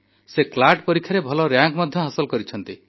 ସେ ସିଏଲଏଟି ପରୀକ୍ଷାରେ ଭଲ ରାଙ୍କ ମଧ୍ୟ ହାସଲ କରିଛନ୍ତି